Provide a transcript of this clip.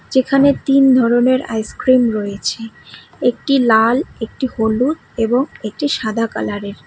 যেখানে তিন ধরনের আইসক্রিম রয়েছে একটি লাল একটি হলুদ এবং একটি সাদা কালারের।